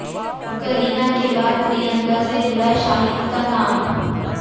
करीना के बाद प्रियंका से जुड़ा शाहिद का नाम